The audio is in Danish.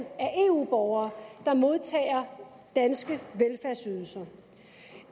eu borgere der modtager danske velfærdsydelser